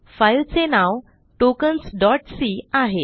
फाईलचे नाव tokens c आहे